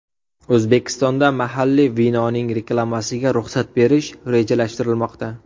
O‘zbekistonda mahalliy vinoning reklamasiga ruxsat berish rejalashtirilmoqda.